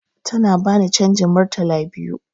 Tana bani canjin Murtala biyu